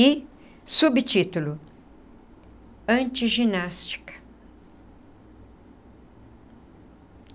E subtítulo, antiginástica.